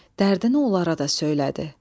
Dərdini onlara da söylədi.